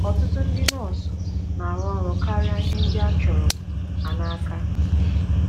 Ọtụtụ ndị nọọsụ na - arụ karịa ihe ndị a chọrọ ha n’aka.